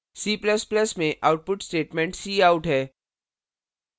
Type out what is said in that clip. c ++ में output statement cout है